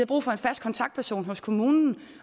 brug for en fast kontaktperson hos kommunen